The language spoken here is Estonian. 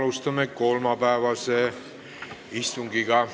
Alustame kolmapäevast istungit.